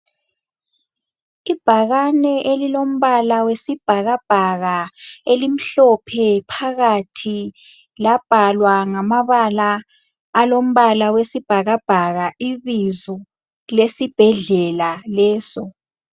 Ibhakane elilombala wesibhakabhaka elimhlophe phakathi labhalwa ngamabala alombala wesibhakabhaka ibizo lesibhedlela leso.